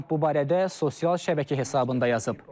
Tramp bu barədə sosial şəbəkə hesabında yazıb.